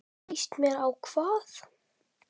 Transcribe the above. Líst mér á hvað?